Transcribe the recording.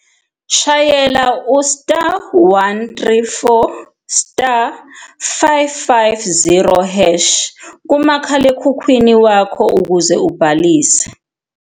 Shayela u-*134*550# kumakhalekhukhwini wakho ukuze ubhalise.